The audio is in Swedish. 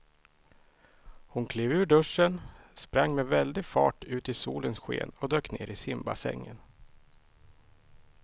Hon klev ur duschen, sprang med väldig fart ut i solens sken och dök ner i simbassängen.